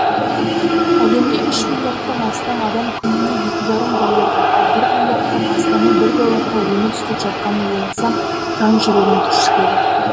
әлемде үш миллиардтан астам адам күніне екі жарым долларға ал бір миллиардтан астамы бір долларға өмір сүріп жатқанын ойласам жан жүрегім түршігеді